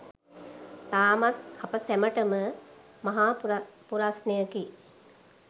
තාමත් අප සැමටම මහා පුරස්නයකි